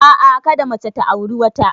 A'a, kada mace ta auri wata.